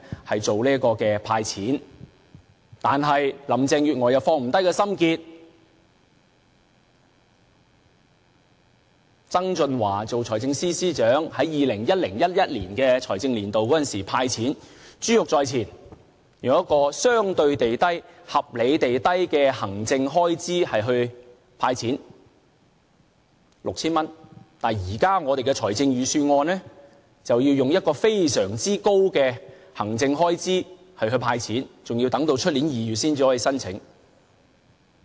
可是，林鄭月娥卻放不下心結，就是曾俊華為財政司司長時，在 2010-2011 財政年度"派錢"，珠玉在前，以相對地和合理地低的行政開支來"派錢 "6,000 元，但現在的預算案卻以非常高的行政開支來"派錢"，更要等至明年2月才可申請。